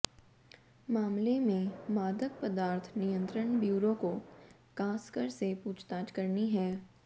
मामले में मादक पदार्थ नियंत्रण ब्यूरो को कासकर से पूछताछ करनी है